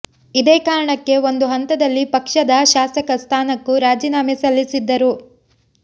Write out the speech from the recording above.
ಇದೇ ಕಾರಣಕ್ಕೆ ಒಂದು ಹಂತದಲ್ಲಿ ಪಕ್ಷದ ಶಾಸಕ ಸ್ಥಾನಕ್ಕೂ ರಾಜೀನಾಮೆ ಸಲ್ಲಿಸಿದ್ದರು